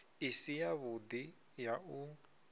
i si yavhudi ya u